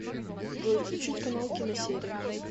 джой включить канал киносерия